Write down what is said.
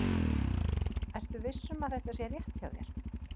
Ertu viss um að þetta sé rétt hjá þér?